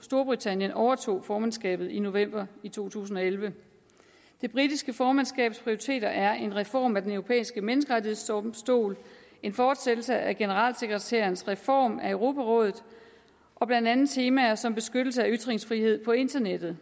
storbritannien overtog formandskabet i november to tusind og elleve det britiske formandskabs prioriteter er en reform af den europæiske menneskerettighedsdomstol en fortsættelse af generalsekretærens reform af europarådet og blandt andet temaer som beskyttelse af ytringsfrihed på internettet